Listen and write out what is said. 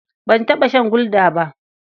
Ban taɓa shan Gulda ba.